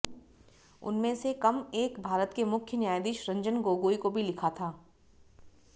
उनमें से कम एक भारत के मुख्य न्यायाधीश रंजन गोगोई को भी लिखा था